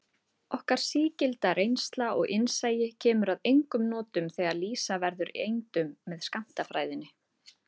Okkar sígilda reynsla og innsæi kemur að engum notum þegar lýsa verður eindum með skammtafræðinni.